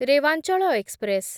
Rewanchal express